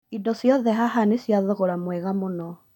Indo cioothe haha nĩ cia thogora mwega mũno